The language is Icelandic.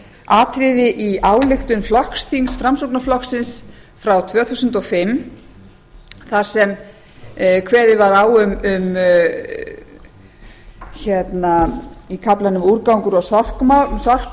atriði í ályktun flokksþings framsóknarflokksins frá árinu tvö þúsund og fimm þar sem kveðið var á um í kaflanum úrgangur og sorpmál